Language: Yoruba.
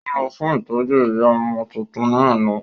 Ó lọ fún ìtọ́jú ìyá ọmọ tuntun ní àná